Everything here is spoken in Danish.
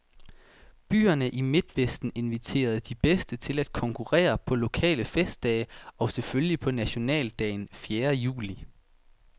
Byerne i midtvesten inviterede de bedste til at konkurrere på lokale festdage, og selvfølgelig på nationaldagen fjerde juli.